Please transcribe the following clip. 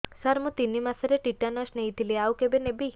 ସାର ମୁ ତିନି ମାସରେ ଟିଟାନସ ନେଇଥିଲି ଆଉ କେବେ ନେବି